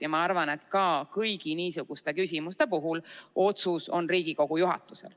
Ja ma arvan, et kõigi niisuguste küsimuste puhul otsustusõigus on Riigikogu juhatusel.